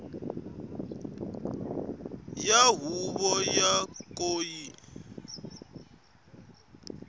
ya huvo yo ka yi